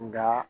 Nka